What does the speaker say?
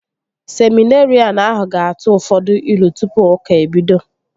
Seminerịan ahụ ga-atụ ụfọdụ ilu tụpụ ụka ebido